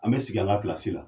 An be sigi an ka la.